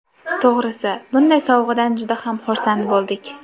To‘g‘risi, bunday sovg‘adan juda ham xursand bo‘ldik.